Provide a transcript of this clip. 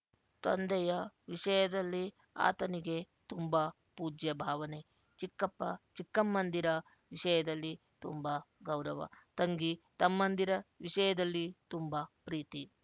ತಂದೆಯ ವಿಷಯದಲ್ಲಿ ಆತನಿಗೆ ತುಂಬ ಪೂಜ್ಯಭಾವನೆ ಚಿಕ್ಕಪ್ಪ ಚಿಕ್ಕಮ್ಮಂದಿರ ವಿಷಯದಲ್ಲಿ ತುಂಬ ಗೌರವ ತಂಗಿ ತಮ್ಮಂದಿರ ವಿಷಯದಲ್ಲಿ ತುಂಬ ಪ್ರೀತಿ